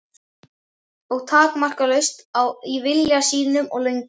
Og takmarkalaust í vilja sínum og löngun.